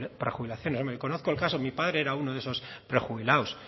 prejubilaciones hombre conozco el caso mi padre era uno de esos prejubilados